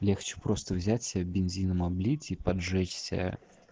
легче просто взять себя бензином облитий поджечься